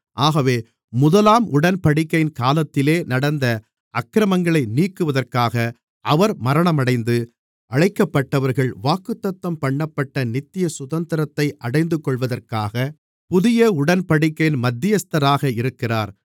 ஆகவே முதலாம் உடன்படிக்கையின் காலத்திலே நடந்த அக்கிரமங்களை நீக்குவதற்காக அவர் மரணமடைந்து அழைக்கப்பட்டவர்கள் வாக்குத்தத்தம்பண்ணப்பட்ட நித்திய சுதந்திரத்தை அடைந்துகொள்வதற்காக புதிய உடன்படிக்கையின் மத்தியஸ்தராக இருக்கிறார்